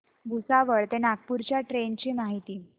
भुसावळ ते नागपूर च्या ट्रेन ची माहिती